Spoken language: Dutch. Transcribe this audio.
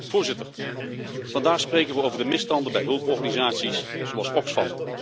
Voorzitter, vandaag spreken we over de misstanden bij hulporganisaties zoals Oxfam.